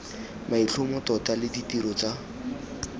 maitlhomo tota le ditiro tsa